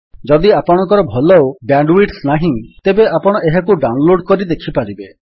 ଯଦି ଆପଣଙ୍କର ଭଲ ବ୍ୟାଣ୍ଡୱିଡଥ୍ ନାହିଁ ତେବେ ଆପଣ ଏହାକୁ ଡାଉନଲୋଡ୍ କରି ଦେଖିପାରିବେ